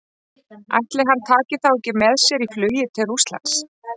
Ætli hann taki þá ekki með sér í flugið til Rússlands?